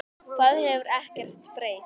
Það hefur ekkert breyst.